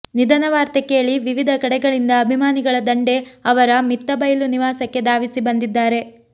ನಿಧನವಾರ್ತೆ ಕೇಳಿ ವಿವಧ ಕಡೆಗಳಿಂದ ಅಭಿಮಾನಿಗಳ ದಂಡೇ ಅವರ ಮಿತ್ತಬೈಲು ನಿವಾಸಕ್ಕೆ ಧಾವಿಸಿ ಬಂದಿದ್ದಾರೆ